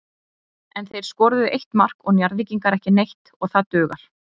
En þeir skoruðu eitt mark og Njarðvíkingar ekki neitt og það dugar.